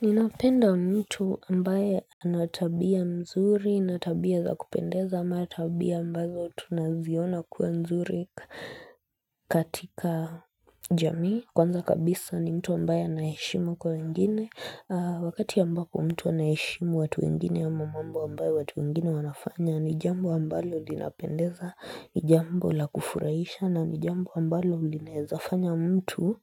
Ninapenda mtu ambaye ana tabia mzuri, na tabia za kupendeza, ama tabia ambazo tunaziona kuwa mzuri katika jamii. Kwanza kabisa ni mtu ambaye ana heshima kwa wengine. Wakati ambapo mtu anaheshimu watu wengine ama mambo ambayo watu wengine wanafanya, ni jambo ambalo linapendeza, ni jambo la kufurahisha, na ni jambo ambalo linaweza fanya mtu